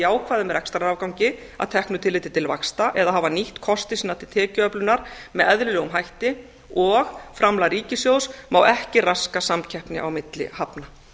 jákvæðum rekstrarafgangi að teknu tilliti til vaxta eða hafa nýtt kosti sína til tekjuöflunar með eðlilegum hætti og framlag ríkissjóðs má ekki raska samkeppni á milli hafna